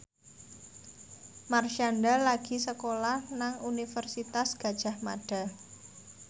Marshanda lagi sekolah nang Universitas Gadjah Mada